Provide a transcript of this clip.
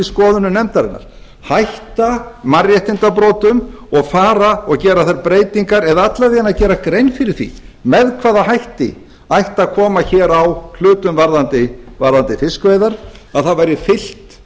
skoðunum nefndarinnar hætta mannréttindabrotum og fara og gera þær breytingar eða alla vega gera grein fyrir því með hvaða hætti ætti að koma hér á hlutum varðandi fiskveiðar að það væri fylgt